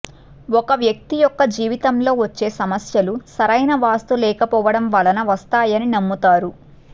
ఒక వ్యక్తి యొక్క జీవితంలో వచ్చే సమస్యలు సరైన వాస్తు లేకపోవడం వలన వస్తాయని నమ్ముతారు